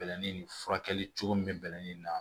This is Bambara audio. Bɛlɛnin ni furakɛli cogo min bɛlɛnin na